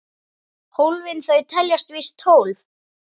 Hólfin þau teljast víst tólf.